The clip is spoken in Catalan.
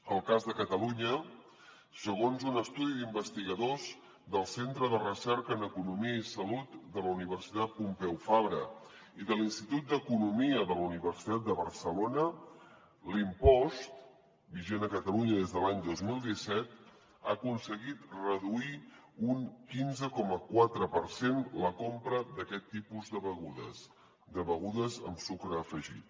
el cas de catalunya segons un estudi d’investigadors del centre de recerca en economia i salut de la universitat pompeu fabra i de l’institut d’economia de la universitat de barcelona l’impost vigent a catalunya des de l’any dos mil disset ha aconseguit reduir un quinze coma quatre per cent la compra d’aquest tipus de begudes de begudes amb sucre afegit